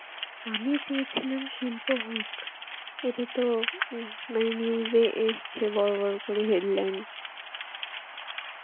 আমি চেয়েছিলাম শিল্প হোক. এটাতো ম~ মানে news এ এসছে বড় বড় করে headline.